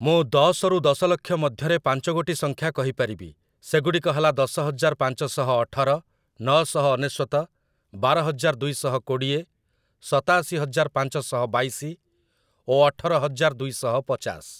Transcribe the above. ମୁଁ ଦଶରୁ ଦଶଲକ୍ଷ ମଧ୍ୟରେ ପାଞ୍ଚଗୋଟି ସଂଖ୍ୟା କହିପାରିବି, ସେଗୁଡ଼ିକ ହେଲା ଦଶହଜାର ପାଞ୍ଚଶହ ଅଠର, ନଅଶହ ଅନେଶ୍ୱତ, ବାରହଜାର ଦୁଇଶହ କୋଡ଼ିଏ, ସତାଅଶିହଜାର ପାଞ୍ଚଶହ ବାଇଶି ଓ ଅଠରହଜାର ଦୁଇଶହ ପଚାଶ ।